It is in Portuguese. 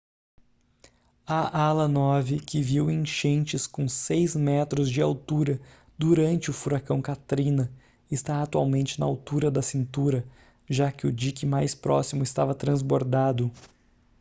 a ala nove que viu enchentes com 6 metros de altura durante o furacão katrina está atualmente na altura da cintura já que o dique mais próximo estava transbordado